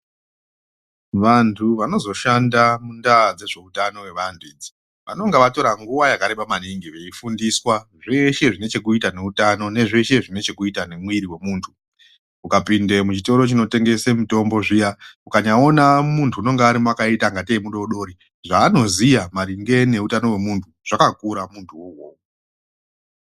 Vantu vanozoshanda mundaa dzezveutano hwevantu idzi, vanonga vatora nguwa yakareba maningi veifundiswa zveshe zvine chekuita neutano nezveshe zvine chekuita nemwiri wemuntu. Ukapinde muchitoro chinotengese mitombo zviya, ukanyaona muntu unonga arimo akaita ngatei mudori-dori, zvaanoziya maringe neutano hwemuntu zvakakura muntuwo iwowo.